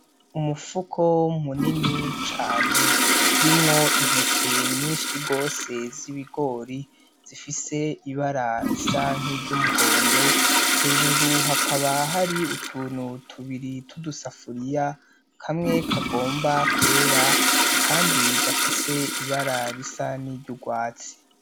Umufuko munini cane urimwo intete nyinshi gose z'ibigori zifise ibara risa nk'iryumuhondo, hejuru hakaba hari utuntu tubiri tw'udusafuriya kamwe kagomba kwera akandi gafise ibara risa n'iryurwatsi.